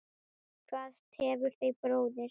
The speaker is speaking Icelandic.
Hvað tefur þig bróðir?